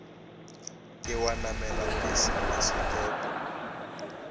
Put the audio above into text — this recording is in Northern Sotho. ke wa namela pese pasetopo